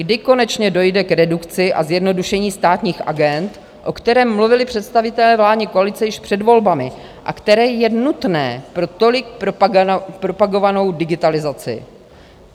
Kdy konečně dojde k redukci a zjednodušení státních agend, o kterém mluvili představitelé vládní koalice již před volbami a které je nutné pro tolik propagovanou digitalizaci.